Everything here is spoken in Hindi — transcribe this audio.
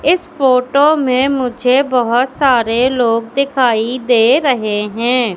इस फोटो में मुझे बहोत सारे लोग दिखाई दे रहे हैं।